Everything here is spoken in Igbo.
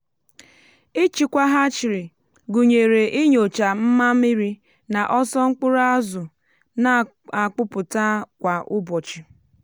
ịchịkwa hatchery gụnyere inyochà mma mmiri na ọsọ mkpụrụ azụ na-akpụpụta kwa ụbọchị.